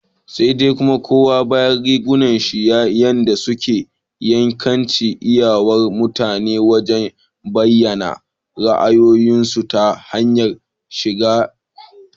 Sai dai kuma, koma bayan rigunan shi ne yadda suke iyakance iyawar mutane wajen bayyana ra'ayoyinsu ta hanyar shigarsu.